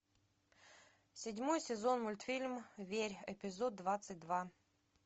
седьмой сезон мультфильм верь эпизод двадцать два